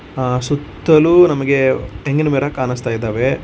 ಆ_ ಸುತ್ತಲು ನಮಗೆ ತೆಂಗಿನಮರ ಕಾಣುಸ್ತಾ ಇದಾವೆ.